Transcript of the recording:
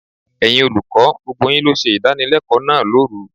Ẹ̀yin olùkọ́, gbogbo yín ló ṣe ìdánilẹ́kọ̀ọ́ náà lóru.